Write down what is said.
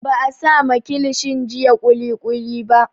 Ba a sama kilishin jiya kulikuli ba